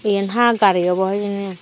yan ha gari obo hijeni.